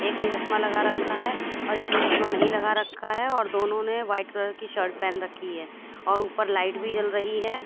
एक ने चश्मा लगा रखा है और एक ने चश्मा नहीं लगा रखा है और दोनों ने व्हाइट कलर की शर्ट पेहन रखी है और ऊपर लाइट भी जल रही है।